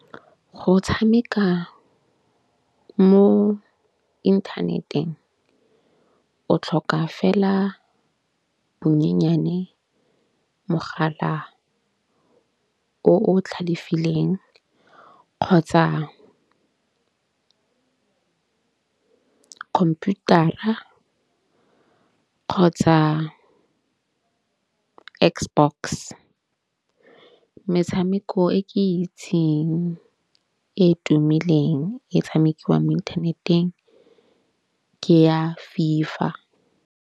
Go tshameka mo inthaneteng o tlhoka fela bonyenyane mogala o tlhalefileng kgotsa computer-ra kgotsa X box. Metshameko e ke itseng e tumileng e tshamekiwang mo inthaneteng ke ya FIFA.